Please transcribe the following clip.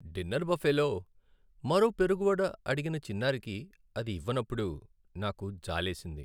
Dinner బఫేలో మరో పెరుగు వడ అడిగిన చిన్నారికి అది ఇవ్వనప్పుడు నాకు జాలేసింది.